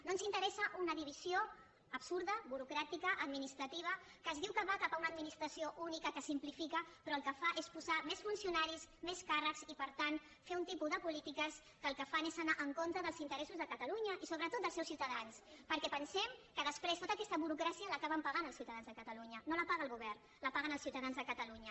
no ens interessa una divisió absurda burocràtica administrativa que es diu que va cap a una administració única que simplifica però el que fa és posar més funcionaris més càrrecs i per tant fer un tipus de polítiques que el que fan és anar en contra dels interessos de catalunya i sobretot dels seus ciutadans perquè pensem que després tota aquesta burocràcia l’acaben pagant els ciutadans de catalunya no la paga el govern la paguen els ciutadans de catalunya